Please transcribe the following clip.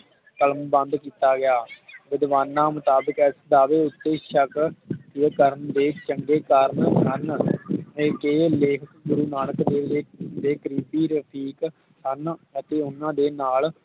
ਕਲਮਬੰਦ ਕੀਤਾ ਗਿਆ ਵਿਧਵਾਨਾ ਮੁਤਾਬਿਕ ਇਸ ਦਾਅਵੇ ਉਤੇ ਸ਼ੱਕ ਕਰਨ ਦੇ ਚੰਗੇ ਕਾਰਨ ਹਨ ਜਿਵੇ ਕੇ ਲੇਖ ਗੁਰੂ ਨਾਨਕ ਦੇਵ ਜੀ ਦੇ ਕਰੀਬੀ ਰਸਿਕ ਹਨ ਅਤੇ ਓਹਨਾ ਦੇ ਨਾਲ